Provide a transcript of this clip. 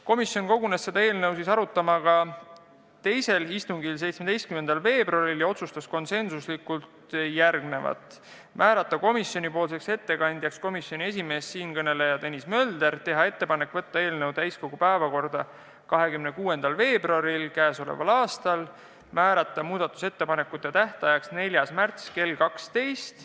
Komisjon kogunes seda eelnõu arutama ka teisel istungil, mis toimus 17. veebruaril, ja otsustas siis konsensuslikult määrata komisjonipoolseks ettekandjaks komisjoni esimees Tõnis Mölder, teha ettepanek võtta eelnõu täiskogu päevakorda 26. veebruariks ja määrata muudatusettepanekute tähtajaks 4. märts kell 12.